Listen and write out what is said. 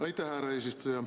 Aitäh, härra eesistuja!